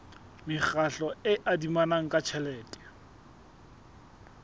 mekgatlo e adimanang ka tjhelete